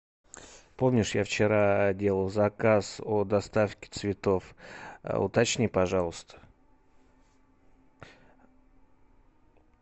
помнишь я вчера делал заказ о доставке цветов уточни пожалуйста